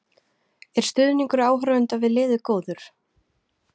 Er stuðningur áhorfenda við liðið góður?